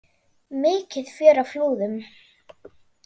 Mikið fjör á Flúðum